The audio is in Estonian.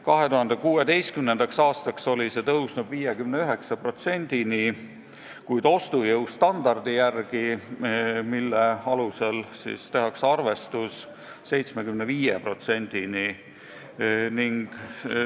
2016. aastaks oli see tõusnud 59%-ni, kuid ostujõu standardi järgi, mille alusel tehakse arvestus, 75%-ni.